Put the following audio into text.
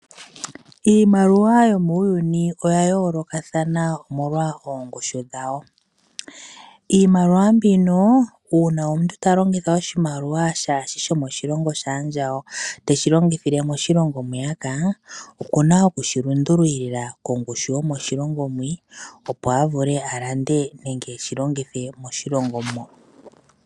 Iimaliwa yomuuyuni oya yoolokathana omolwa oongushu dhawo. Iimaliwa mbino uuna omuntu talongitha oshimaliwa shaashi shomoshilonho shaandjawo teshi longithile moshilongo mwiyaka okuna okushi lundululila mongushu yomoshilongo mwii opo avule alande nenge eshilongithe moshilongo mo.